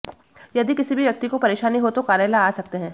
यदि किसी भी व्यक्ति को परेशानी हो तो कार्यालय आ सकते हैं